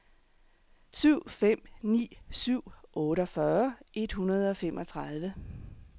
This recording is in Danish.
syv fem ni syv otteogfyrre et hundrede og femogtredive